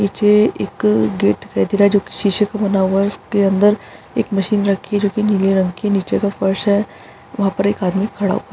नीचे एक गेट दिखाई दे रहा है जो की सीसे का बना हुआ है उसके अंदर एक मशीन रखी जो कि नीले रंग की है नीचे का फर्श है वहाँ पर एक आदमी खड़ा --